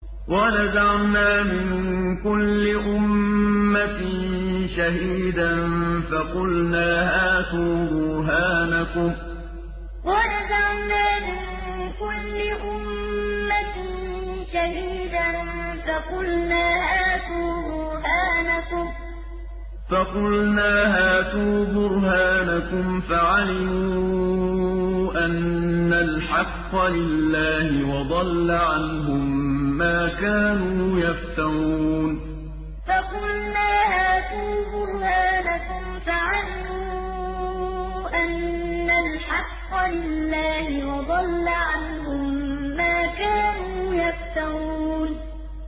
وَنَزَعْنَا مِن كُلِّ أُمَّةٍ شَهِيدًا فَقُلْنَا هَاتُوا بُرْهَانَكُمْ فَعَلِمُوا أَنَّ الْحَقَّ لِلَّهِ وَضَلَّ عَنْهُم مَّا كَانُوا يَفْتَرُونَ وَنَزَعْنَا مِن كُلِّ أُمَّةٍ شَهِيدًا فَقُلْنَا هَاتُوا بُرْهَانَكُمْ فَعَلِمُوا أَنَّ الْحَقَّ لِلَّهِ وَضَلَّ عَنْهُم مَّا كَانُوا يَفْتَرُونَ